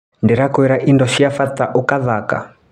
Ndĩra kwĩra indo cia bata ũgathaka.